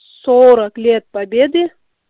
сорок лет победы